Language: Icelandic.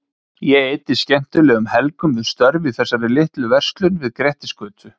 Ég eyddi skemmtilegum helgum við störf í þessari litlu verslun við Grettisgötu.